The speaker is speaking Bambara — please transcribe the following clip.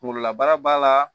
Kunkololabana b'a la